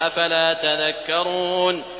أَفَلَا تَذَكَّرُونَ